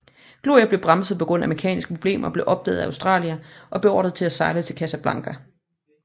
Gloire blev bremset på grund af mekaniske problemer og blev opdaget af Australia og beordret til at sejle til Casablanca